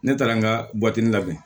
Ne taara n ka buwatinin labɛn